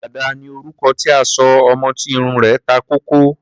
Dàda ni orúkọ tí a sọ ọmọ tí irun rẹ̀ ta kókó.